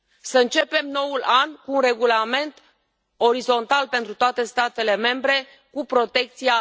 Să începem noul an cu un regulament orizontal pentru toate statele membre cu protecția